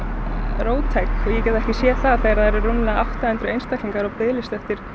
róttæk ég get ekki séð það þegar það eru rúmlega átta hundruð einstaklingar á bið eftir